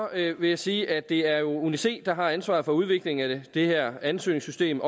vil jeg sige at det jo er uni c der har ansvaret for udviklingen af det her ansøgningssystem